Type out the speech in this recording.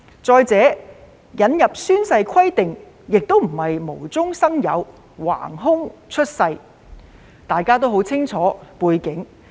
再者，引入宣誓規定並非無中生有，橫空出世，大家都很清楚背景。